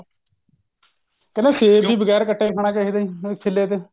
ਕਹਿੰਦੇ ਸੇਬ ਵੀ ਬਗੈਰ ਕੱਟਿਆ ਖਾਣਾ ਚਾਹਿਦਾ ਹੁਣ ਛੀਲੇ ਤੇ